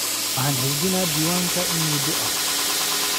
Waxaan xafidnaa diiwaanka in muddo ah.